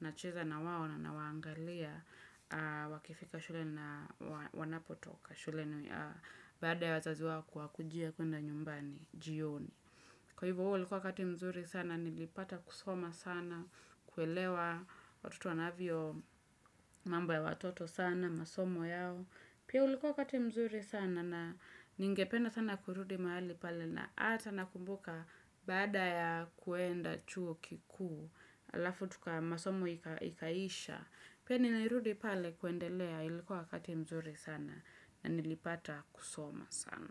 nacheza na wao na nawaangalia, wakifika shule na wanapotoka, shule baada ya wazazi wao kuwa kujia kuenda nyumbani, jioni. Kwa hivyo ulikuwa wakati mzuri sana, nilipata kusoma sana, kuelewa, watutu wanavyo mambo ya watoto sana, masomo yao. Pia ulikuwa wakati mzuri sana na ningependa sana kurudi mahali pale na ata nakumbuka baada ya kuenda chuo kikuu, alafu tuka masomo ikaisha. Pia nilirudi pale kuendelea, ilikuwa wakati mzuri sana na nilipata kusoma sana.